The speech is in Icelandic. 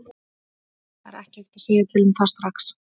Það er ekki hægt að segja til um það strax.